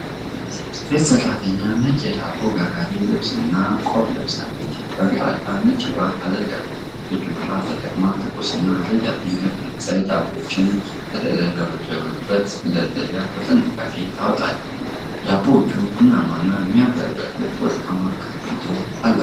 ሴት ሠራተኛ ነጭ የዳቦ ጋጋሪ ልብስና ቆብ ለብሳለች። በግራ እጇ ነጭ ጓንት አድርጋለች። እጆቿን ተጠቅማ ትኩስ እና ረዣዥም የፈረንሳይ ዳቦዎችን ከተደረደሩበት መደርደሪያ በጥንቃቄ ታወጣለች። ዳቦዎቹ ቡናማና የሚያብረቀርቅ ወርቃማ ቅርፊት አላቸው።